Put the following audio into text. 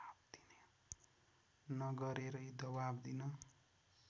नगरेरै दवाब दिन